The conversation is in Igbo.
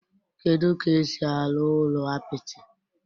Kedu ka esi arụ ụlọ apịtị?